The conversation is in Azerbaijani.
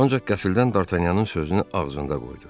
Ancaq qəflədən Dartanyanın sözünü ağzında qoydu.